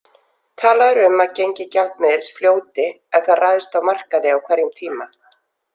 Talað er um að gengi gjaldmiðils fljóti ef það ræðst á markaði á hverjum tíma.